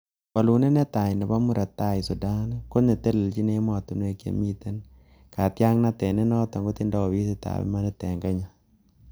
Wolunindet netai neo nebo Murot Tai Sudan, ko netelechin emotinwek chemiten katyaknatet nenoton kotindoi ofisitab imanit en Kenya.